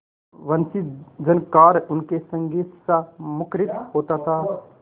वंशीझनकार उनके संगीतसा मुखरित होता था